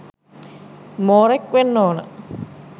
මෝරෙක් වෙන්න ඕන